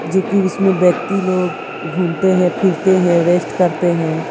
जो कि उसमें व्यक्ति लोग घूमते हैं फिरते हैं रेस्ट करते है।